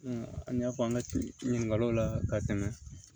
an y'a fɔ an ka ci ɲininkaliw la ka tɛmɛ